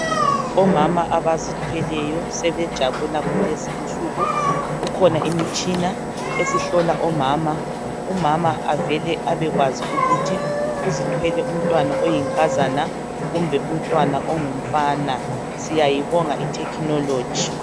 Omama abazithweleyo sebejabula kulezi insuku kukhona imitshina esihlola omama umama avele abekwazi ukuthi uzithwele umntwana oyinkazana kumbe ongumfana siyayibonga ithekhinoloji